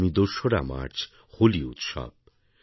আগামী ২রা মার্চ হোলি উৎসব